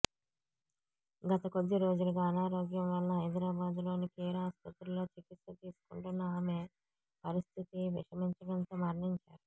గత కొద్దిరోజులుగా అనారోగ్యం వలన హైదరాబాద్ లోని కేర్ ఆస్పత్రిలో చికిత్స తీసుకుంటున్న ఆమె పరిస్థితి విషమించడంతో మరణించారు